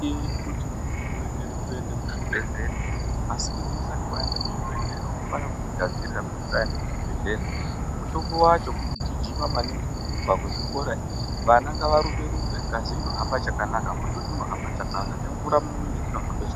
Azvidiwi kuti muntu urekere kuende ku chibhedhleya asi kuti usati waenda ku chibhedhleya unofana kuzvi gadzirira kuti usaenda ku chibhedhlera mutombo wacho kugijima maningi kurumba ku zvikora vana ngava rumbe ngazi inohamba chakanaka mututu unohamba chakanaka be mvura mu mwiri dzino hamba zvakanaka.